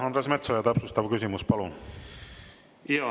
Andres Metsoja, täpsustav küsimus, palun!